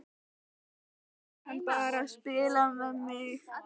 Eða var hann bara að spila með mig?